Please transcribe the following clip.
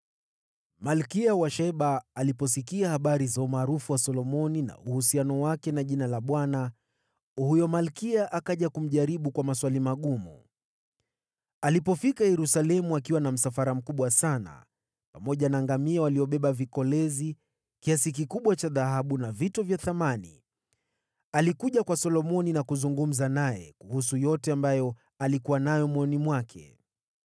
Malkia wa Sheba aliposikia habari za umaarufu wa Solomoni, huyo malkia akaja Yerusalemu kumjaribu kwa maswali magumu. Alifika akiwa na msafara mkubwa sana, pamoja na ngamia waliobeba vikolezi, kiasi kikubwa cha dhahabu na vito vya thamani, alikuja kwa Solomoni na kuzungumza naye kuhusu yote ambayo alikuwa nayo moyoni mwake.